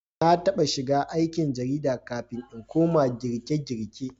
Na taɓa shiga aikin jarida kafin in koma girkegirke